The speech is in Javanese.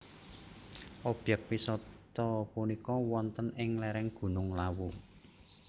Obyek wisata punika wonten ing lereng Gunung Lawu